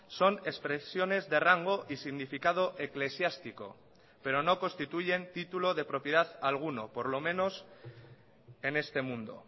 son expresiones de rango y significado eclesiástico pero no constituyen título de propiedad alguno por lo menos en este mundo